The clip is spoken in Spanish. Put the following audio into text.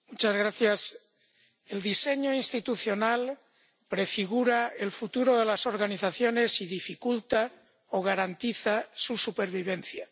Señor presidente, el diseño institucional prefigura el futuro de las organizaciones y dificulta o garantiza su supervivencia.